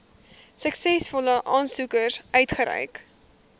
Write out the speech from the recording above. suksesvolle aansoekers uitgereik